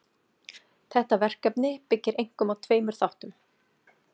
Þetta verkefni byggir einkum á tveimur þáttum.